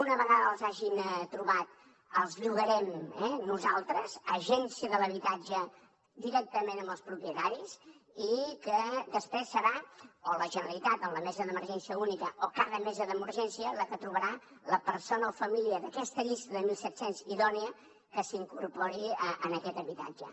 una vegada els ha gin trobat els llogarem nosaltres agència de l’habitatge directament amb els propietaris i després serà o bé la generalitat amb la mesa d’emergència única o cada mesa d’emergència la que trobarà la persona o família d’aquesta llista de mil set centes idònia que s’incorpori en aquest habitatge